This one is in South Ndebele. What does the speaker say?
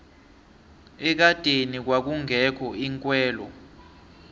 ekadeni kwakungekho iinkhwelo